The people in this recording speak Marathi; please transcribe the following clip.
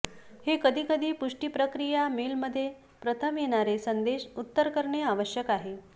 हे कधी कधी पुष्टी प्रक्रिया मेल मध्ये प्रथम येणारे संदेश उत्तर करणे आवश्यक आहे